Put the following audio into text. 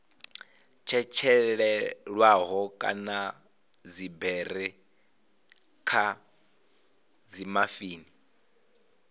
tshetshelelwaho kana dziberi kha dzimafini